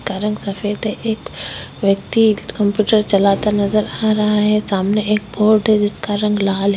जिसका रंग सफेद है एक व्यक्ति कंप्यूटर चलाता हुआ नज़र आ रहा है सामने बोर्ड है जिसका रंग लाल है।